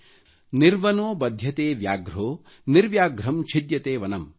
ನಿರ್ವನೊ ಬಧ್ಯತೆ ವ್ಯಾಘ್ರೊ ನಿವ್ರ್ಯಾಘ್ರಂ ಛಿದ್ಯತೆ ವನಮ್|